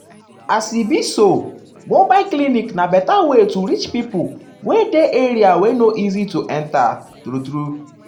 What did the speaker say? as e be so mobile clinic na better way to reach pipo pipo wey dey area wey no easy to enta true-true.